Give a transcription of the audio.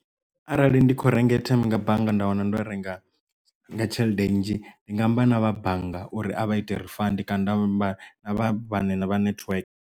Arali ndi kho renga airtime nga bannga nda wana ndo renga nga tshelede nnzhi ndi nga amba na vha bannga uri a vha ite refund kana nda amba na vhathu vhane na vha network.